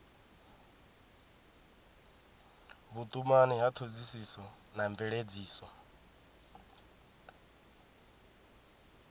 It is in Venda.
vhutumani ya thodisiso na mveledziso